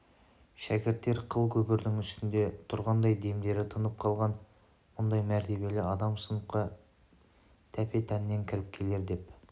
шәкірттер қыл көпірдің үстінде тұрғандай демдері тынып қалған мұндай мәртебелі адам сыныпқа тәпе-тәннен кіріп келер деп